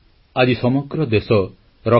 • ରାଜନୈତିକ ସଂସ୍କୃତିରେ ସଂସ୍କାର ଆଣିଥିଲେ ବାଜପେୟୀ